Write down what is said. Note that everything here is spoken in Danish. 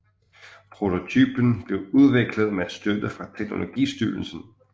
Prototypen blev udviklet med støtte fra teknologistyrelsen